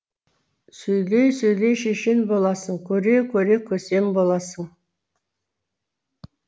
сөйлей сөйлей шешен боласың көре көре көсем боласың